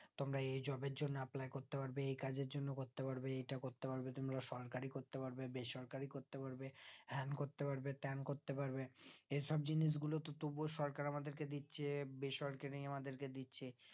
তোমরা এই job এর জন apply করতে পারবে এই কাজের জন্য করতে পারবে এটা করতে পারবে তোমরা সরকারি করতে পারবে বেসরকারি করতে পারবে হ্যান করতে পারবে ত্যান করতে পারবে এই সব জিনিস গুলো তবুও সরকার আমাদের দিচ্ছে বেসরকারি আমাদেরকে দিচ্ছে